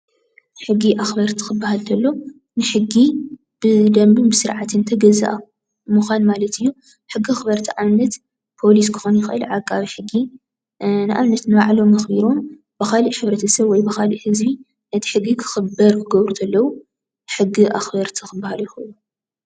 ሕጊ ኣክበርቲ ክበሃል እንተሎ ሕጊ ብደንብን ብስርዓት ተገዛኢ ክኮን እንተሎ ምኳን ማለት እዩ። ሕጊ ኣክርቲ ንኣብነት፦ ፖሊስ ፥ዓቃቢ ሕጊ ክከውን ይክእል ንባዕሎም ብካሊእ ሕ/ሰብ ወይ ብካሊእ ህዝቢ ክክበር ዝገብሩ ዘለው ።